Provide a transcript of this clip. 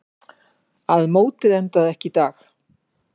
Að mótið endaði ekki í dag.